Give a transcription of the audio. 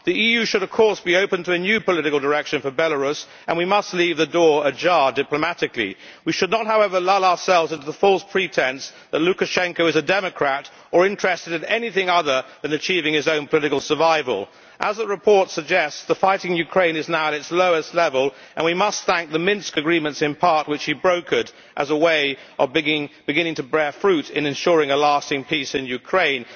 The EU should, of course, be open to a new political direction for Belarus, and we must leave the door ajar diplomatically. We should not, however, lull ourselves into the false pretence that Lukashenko is a democrat or interested in anything other than achieving his own political survival. As the report suggests, the fighting in Ukraine is now at its lowest level, and we must thank the Minsk agreement in part brokered by him as a way of beginning the process of ensuring lasting peace in Ukraine.